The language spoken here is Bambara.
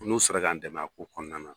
N'u sera k'an dɛmɛ a ko kɔnɔna na